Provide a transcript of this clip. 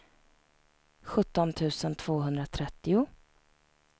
sjutton tusen tvåhundratrettio